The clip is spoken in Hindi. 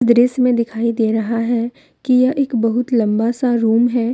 दृश्य में दिखाई दे रहा है कि यह एक बहुत लंबा सा रूम है।